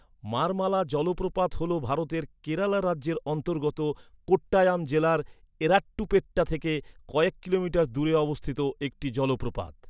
মারমালা জলপ্রপাত হল ভারতের কেরালা রাজ্যের অন্তর্গত কোট্টায়াম জেলার এরাট্টুপেট্টা থেকে কয়েক কিলোমিটার দূরে অবস্থিত একটি জলপ্রপাত।